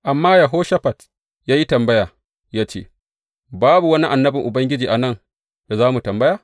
Amma Yehoshafat ya yi tambaya, ya ce, Babu wani annabin Ubangiji a nan da za mu tambaya?